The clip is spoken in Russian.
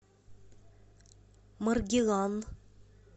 маргилан